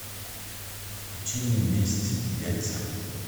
включи мне месть яйца